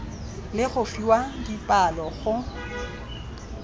le go fiwa dipalo go